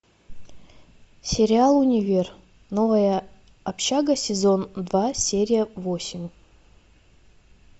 сериал универ новая общага сезон два серия восемь